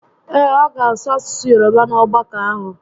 Ee, ọ ga asụ asụsụ Yoroba n'ogbakọ ahụ